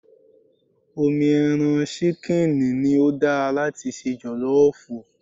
Omi ẹran ṣíkìnì ni ó dára láti se jọ̀lọ́ọ̀fù